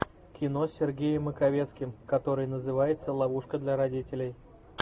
кино с сергеем маковецким который называется ловушка для родителей